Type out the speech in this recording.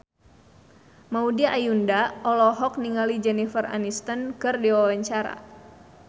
Maudy Ayunda olohok ningali Jennifer Aniston keur diwawancara